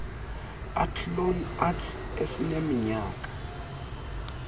athlone arts esineminyaka